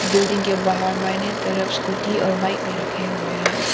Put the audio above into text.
Building के बाहर बाइने तरफ स्कूटी और बाइक भी रखे हुए है।